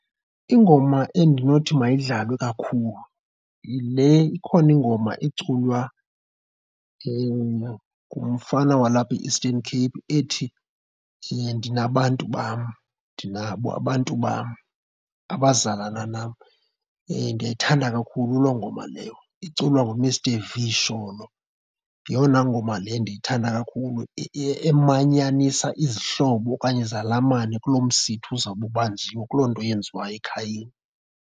Ingoma endinothi mayidlalwe kakhulu yile, ikhona ingoma iculwa ngumfana walapha e-Eastern Cape ethi ndiye ndinabantu bam, ndinabo abantu bam abazalana nam. Ndiyayithanda kakhulu loo ngoma leyo iculwa nguMr Vee Sholo, yeyona ngoma le endiyithanda kakhulu emanyanisesa izihlobo okanye izalamane kulo msitho uzawube ubanjiwe, kuloo nto yenziwayo ekhayeni.